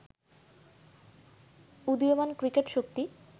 উদীয়মান ক্রিকেট শক্তি